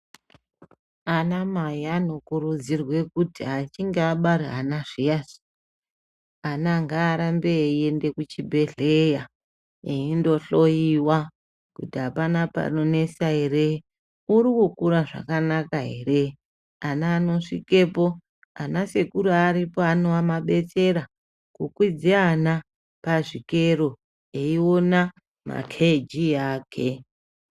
Anamai vanokurudzirwa kuti kana vachinge vabara ana zviyani, ana ngaarambe eiende kuchibhedhleya eindohloyiwa kuti apana panonesa ere, uri kukura zvakanaka ere vana vanosvikepo. Ana sekuru vandoripo kudetsera kukwidze ana pachikero veiona makheijii ake.